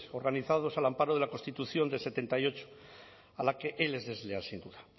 organizados al amparo de la constitución del setenta y ocho a la que él es desleal sin duda